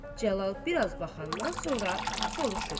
Cəlal biraz baxandan sonra soruşur.